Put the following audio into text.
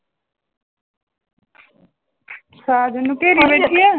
ਸਾਜਨ ਨੂੰ ਘੇਰੀ ਬੈਠੀ ਹੈ।